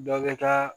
Dɔ bɛ taa